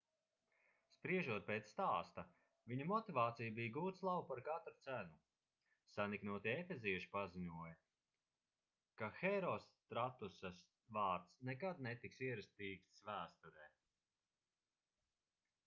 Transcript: spriežot pēc stāsta viņa motivācija bija gūt slavu par katru cenu saniknotie efezieši paziņoja ka herostratusa vārds nekad netiks ierakstīts vēsturē